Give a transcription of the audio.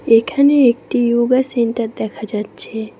এখানে একটি yoga centre দেখা যাচ্ছে।